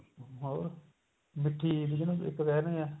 ਹੋਰ ਮਿੱਠੀ ਈਦ ਜਿਹਨੂੰ ਕਹਿੰਦੇ ਆ